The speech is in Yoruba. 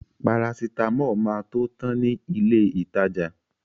Parasitámọ̀ máa tó tan ní ilé ìtajà.